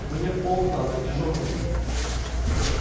мне в полк надо к дежурному